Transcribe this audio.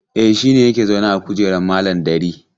E, shi ne yake zaune a kujeran malam Dari.